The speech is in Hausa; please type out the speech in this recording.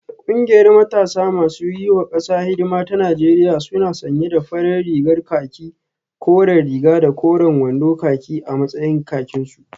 Kungiyar matasa masu yiwa kasa hidima ta Najeriya suna sanye da farar rigar khaki koren riga da koren wando khaki a matsayin kakinsu